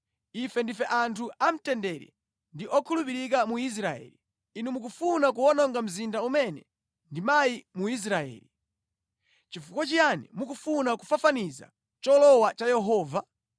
Ife ndife anthu a mtendere ndi okhulupirika mu Israeli. Inu mukufuna kuwononga mzinda umene ndi mayi mu Israeli. Nʼchifukwa chiyani mukufuna kufafaniza cholowa cha Yehova?”